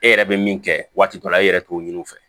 E yɛrɛ bɛ min kɛ waati dɔ la e yɛrɛ t'o ɲini u fɛ